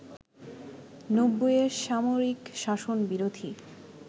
৯০ এর সামরিক শাসন বিরোধী